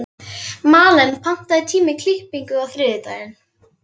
Malen, pantaðu tíma í klippingu á þriðjudaginn.